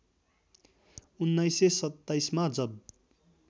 १९२७ मा जब